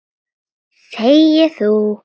Þegi þú!